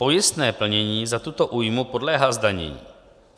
Pojistné plnění za tuto újmu podléhá zdanění.